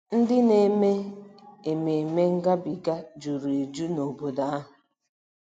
Ndị na-eme Ememme Ngabiga juru eju nobodo ahụ.